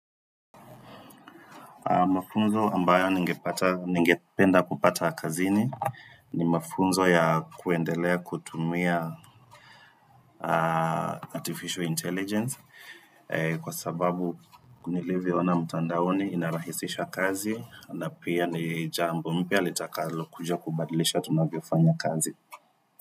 Mafunzo ambayo ningepata ningependa kupata kazini ni mafunzo ya kuendelea kutumia artificial intelligence kwa sababu nilivyo ona mtandaoni inarahisisha kazi na pia ni jambo mpya litakalokuja kubadilisha tunavyofanya kazi.